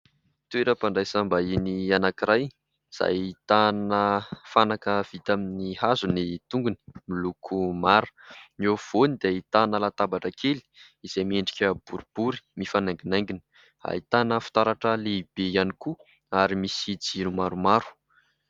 Toeram-pandraisam-bahiny anankiray izay ahitana fanaka vita amin'ny hazo ny tongony, miloko mara. Ny eo afovoany dia ahitana latabatra kely izay miendrika boribory mifanainginaingina. Ahitana fitaratra lehibe ihany koa ary misy jiro maromaro.